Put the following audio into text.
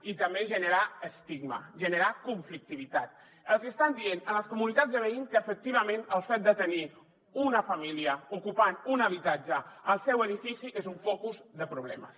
i també generar estigma generar conflictivitat els hi estan dient a les comunitats de veïns que efectivament el fet de tenir una família ocupant un habitatge al seu edifici és un focus de problemes